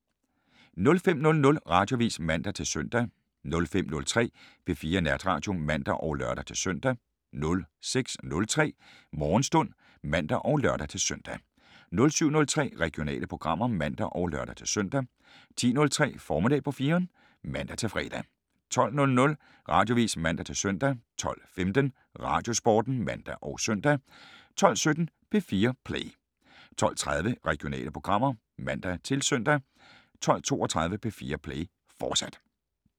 05:00: Radioavis (man-søn) 05:03: P4 Natradio (man og lør-søn) 06:03: Morgenstund (man og lør-søn) 07:03: Regionale programmer (man og lør-søn) 10:03: Formiddag på 4'eren (man-fre) 12:00: Radioavis (man-søn) 12:15: Radiosporten (man og søn) 12:17: P4 Play 12:30: Regionale programmer (man-søn) 12:32: P4 Play, fortsat